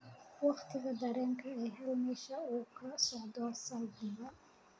waqtiga tareenka ii hel meesha uu ka socdo saldhiga